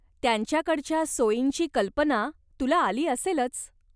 त्यांच्याकडच्या सोयींची कल्पना तुला आली असेलच.